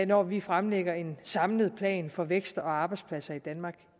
når vi fremlægger en samlet plan for vækst og arbejdspladser i danmark